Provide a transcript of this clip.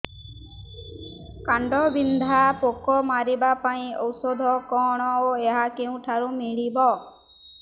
କାଣ୍ଡବିନ୍ଧା ପୋକ ମାରିବା ପାଇଁ ଔଷଧ କଣ ଓ ଏହା କେଉଁଠାରୁ ମିଳିବ